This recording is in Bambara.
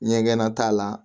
Ɲɛgɛnna t'a la